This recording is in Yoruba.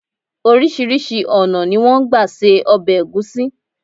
Orísírìsí ònà ni wón n gba se obè ègúsí